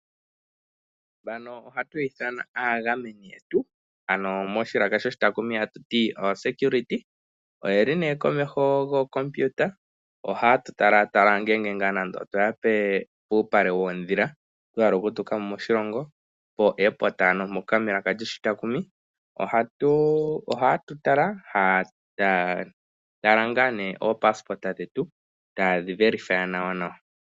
Mbano oha tu yi ithana aagameni yetu ano moshilaka shoshi taakumi atuti oosecurity oyeli nee komeho gookompiuta ohayetu tala tala ngele twaya nande opuupale woodhila twa hala okutukamo